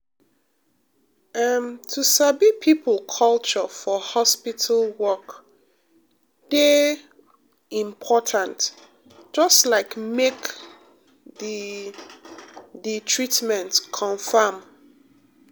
em to sabi people culture for hospital work dey um important just like make the the treatment confam. um